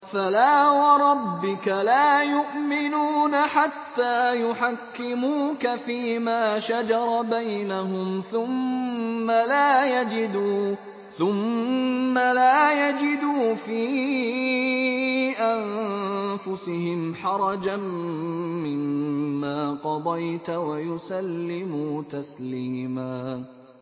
فَلَا وَرَبِّكَ لَا يُؤْمِنُونَ حَتَّىٰ يُحَكِّمُوكَ فِيمَا شَجَرَ بَيْنَهُمْ ثُمَّ لَا يَجِدُوا فِي أَنفُسِهِمْ حَرَجًا مِّمَّا قَضَيْتَ وَيُسَلِّمُوا تَسْلِيمًا